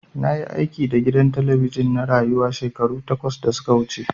Na yi aiki da gidan talabijin na Rayuwa shekaru takwas da su ka wuce.